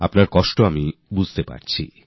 আপনার ব্যাথা আমি বুঝতে পারি